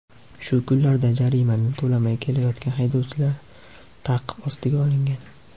Shu kunlarda jarimani to‘lamay kelayotgan haydovchilar ta’qib ostiga olingan.